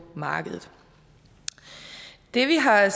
markedet det vi har